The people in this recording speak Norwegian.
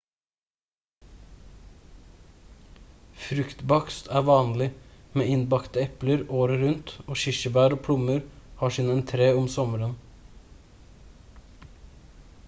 fruktbakst er vanlig med innbakte epler året rundt og kirsebær og plommer har sin entré om sommeren